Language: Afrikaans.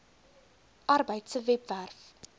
arbeid se webwerf